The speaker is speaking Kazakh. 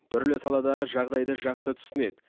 түрлі саладағы жағдайды жақсы түсінеді